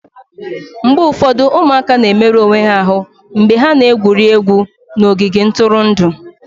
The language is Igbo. mgbe ụfọdụ ụmụaka na-emerụ onwe ha ahụ mgbe ha na-egwuri egwu n'ogige ntụrụndụ